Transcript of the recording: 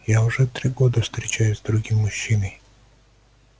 я уже три года встречаюсь с другим мужчиной